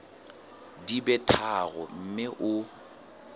di be tharo mme o